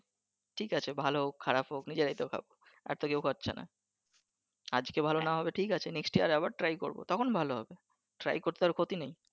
ঠিক আছে ভালো হোক খারাপ হোক নিজেরাই তো খাবো আর তো কেও খাচ্ছে নাহ । আজকে ভালো নাহ হলে ঠিক আছে next year আবার try করবো তখন ভালো হবে try করতে আর ক্ষতি নেই ।